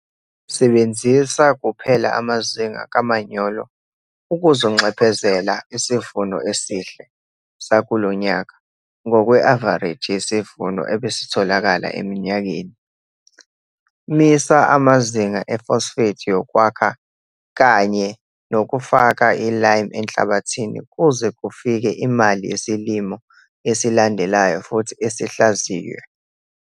Sebenzisa kuphela amazinga kamanyolo okuzonxephezela isivuno esihl sakulo nyaka ngokwe-avareji yesivuno ebesetholakala eminyakeni. Misa amazinga e-phosphate yokwakha kanye nokufaka i-lime enhlabathini kuze kufike imali yesilimo esilandelayo futhi sihlaziywe.